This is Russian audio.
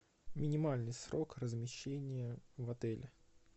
минимальный срок размещения в отеле